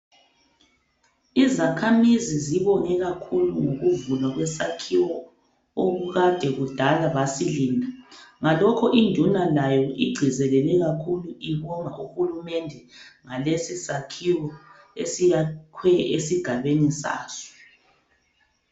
Izakhamizi zibonge kakhulu ngokuvulwa kwesakhiwo okade kudala basilinda. Ngalokho induna layo igcizelele kakhulu ibonga uhulumende ngalesi sakhiwo esakhwe esigabeni saso.